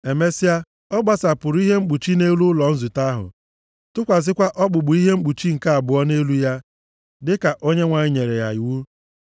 Emesịa, ọ gbasapụrụ ihe mkpuchi nʼelu ụlọ nzute ahụ, tụkwasịkwa okpukpu ihe mkpuchi nke abụọ nʼelu ya dịka Onyenwe anyị nyere ya iwu.